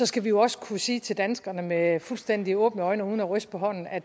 skal vi jo også kunne sige til danskerne med fuldstændig åbne øjne og uden at ryste på hånden at